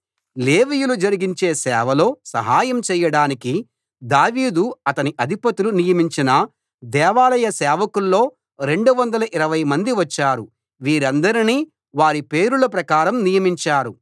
లేవీయులు జరిగించే సేవలో సహాయం చేయడానికి దావీదు అతని అధిపతులు నియమించిన దేవాలయ సేవకుల్లో 220 మంది వచ్చారు వీరందరినీ వారి పేరుల ప్రకారం నియమించారు